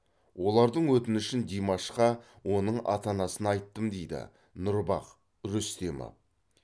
олардың өтінішін димашқа оның ата анасына айттым дейді нұрбах рүстемов